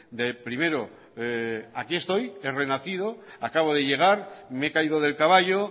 de primero aquí estoy he renacido acabo de llegar me he caído del caballo